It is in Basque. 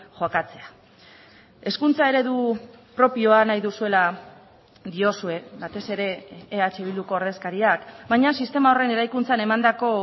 jokatzea hezkuntza eredu propioa nahi duzuela diozue batez ere eh bilduko ordezkariak baina sistema horren eraikuntzan emandako